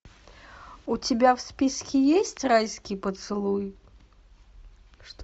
у тебя в списке есть райский поцелуй